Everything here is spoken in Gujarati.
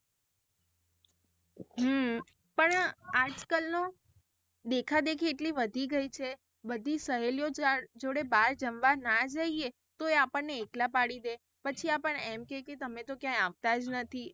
હમ પણ આજ કલ નો દેખા દેખી એટલી વધી ગઈ છે બધી સહેલીઓ જોડે બહાર જમવા ના જઇયે તો એ આપણ ને એકલા પાડી દે પછી આપણ ને એમ કે કે તમે તો ક્યાંય પણ આવતા જ નથી.